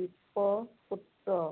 বিপ্ৰ পুত্ৰ